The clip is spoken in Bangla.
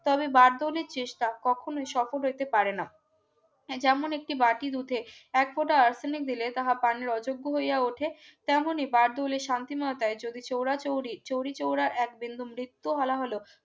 তবে বারদৌলির চেষ্টা কখনোই সফল হইতে পারে না যেমন একটি বাড়তি দুধে এক ফোঁটা আর্সেনিক দিলে তাহা পানের অযোগ্য হইয়া ওঠে তেমনি বারদৌলির শান্তিময় টাই যদি চরাচৌরি চৌরিচৌরা এক বিন্দু মৃত্যু হলা হলো